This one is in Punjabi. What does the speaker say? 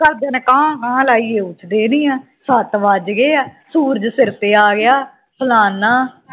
ਘਰਦਿਆਂ ਨੇ ਕਾਂ-ਕਾਂ ਲਾਇਆ ਉਠਦੇ ਨਹੀਂ ਹਾਂ ਸੱਤ ਵੱਜ ਗਏਆ ਸੂਰਜ ਸਿਰ ਤੇ ਆ ਗਿਆ ਫਲਾਣਾ